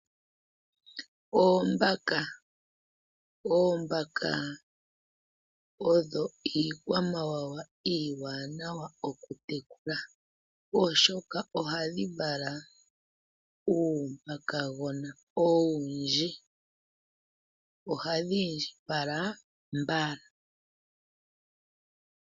Oombaka Oombaka odho iikwamawawa iiwanawa okutekula, oshoka ohadhi vala uumbakagona owundji, ohadhi indjipala mbala.